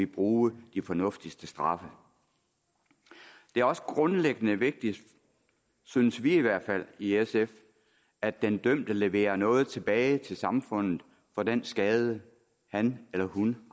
bruge de fornuftigste straffe det er også grundlæggende vigtigt synes vi i hvert fald i sf at den dømte leverer noget tilbage til samfundet for den skade han eller hun